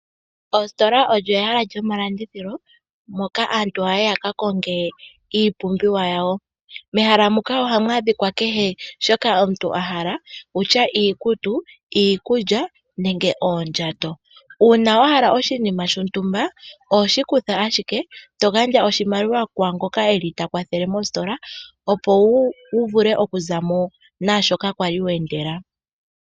Oositola olyo ehala lyomalandithilo moka aantu haya yi ya kakonge iipumbiwa yawo. Mehala muka ohamu adhika kehe shoka omuntu a hala okutya iikutu, iikulya nenge oondhato uuna wa hala oshinima shontumba oho shikutha ashike togandja oshimaliwa kwaangoka eli takwathele mositola opo wu vule kuza mo naashoka kwali wa endela.